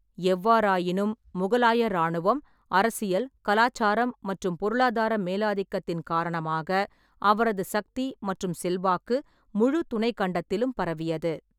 எவ்வாறாயினும், முகலாய இராணுவம், அரசியல், கலாச்சாரம் மற்றும் பொருளாதார மேலாதிக்கத்தின் காரணமாக அவரது சக்தி மற்றும் செல்வாக்கு முழு துணைக்கண்டத்திலும் பரவியது.